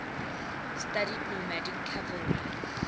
studied nomadic cavalry